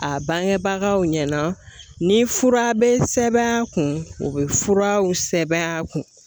A bangebagaw ɲɛna ni fura bɛ sɛbɛn a kun o bɛ furaw sɛbɛn a kun